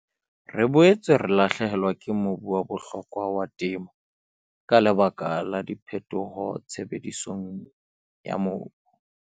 Re boetse re lahlehelwa ke mobu wa bohlokwa wa temo ka lebaka la diphetoho tshebedisong ya mobu.